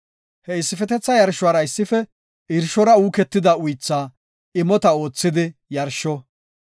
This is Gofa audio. He issifetetha yarshuwara issife irshora uuketida uythaa imota oothidi yarsho.